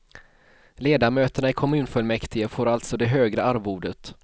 Ledamöterna i kommunfullmäktige får alltså det högre arvodet.